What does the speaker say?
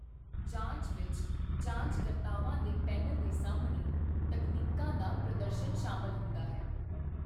ਜਾਂਚ ਵਿੱਚ ਜਾਂਚਕਰਤਾਵਾਂ ਦੇ ਪੈਨਲ ਦੇ ਸਾਹਮਣੇ ਤਕਨੀਕਾਂ ਦਾ ਪ੍ਰਦਰਸ਼ਨ ਸ਼ਾਮਲ ਹੁੰਦਾ ਹੈ।